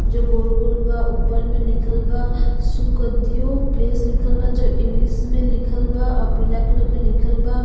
जो गोल गोल बा। ऊपर में लिखल बा सुखदेओ प्लेस लिखल बा जो इंग्लिश मे लिखल बा। अ पीला कलर क लिखल बा।